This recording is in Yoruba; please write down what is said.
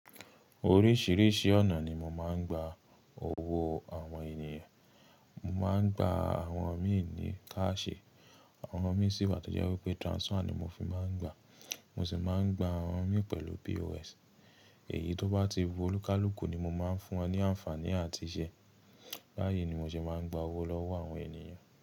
Oríṣìíríṣìí ọ̀nà ni mo máa ń gba owó àwọn ènìyàn. Mo máa ń gba àwọn míì ní káàṣì, àwọn mí sì wà tó jẹ́ wípé transfer ni mo fi máa ń gba. Mo sì máa ń gba àwọn mí pẹ̀lú POS. Èyí tó bá ti wọ̀lúkálùùkù ni mo máa ń fún wọn ní àǹfààní àti iṣẹ́. Báyìí ni mo ṣe máa ń gba owó lọ́wọ́ àwọn ènìyàn.